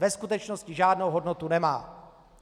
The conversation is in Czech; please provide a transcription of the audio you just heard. Ve skutečnosti žádnou hodnotu nemá.